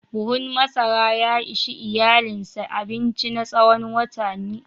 Buhun masara ya ishi iyalinsa abinci na tsawon watanni.